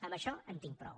amb això en tinc prou